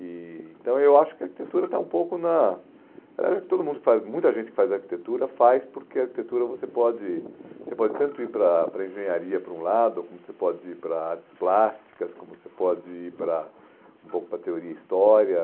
E então, eu acho que a arquitetura está um pouco na... Eh o que todo mundo faz, muita gente que faz arquitetura faz porque arquitetura você pode você pode tanto ir para a para a engenharia por um lado, como você pode ir para artes plásticas, como você pode ir para um pouco para teoria e história.